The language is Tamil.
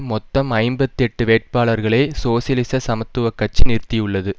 மொத்தம் ஐம்பத்தி எட்டு வேட்பாளர்களை சோசியலிச சமத்துவ கட்சி நிறுத்தியுள்ளது